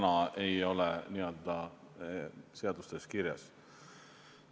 Seda ei ole täna seadustes kirjas.